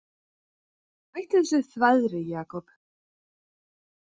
Hættu þessu þvaðri, Jakob.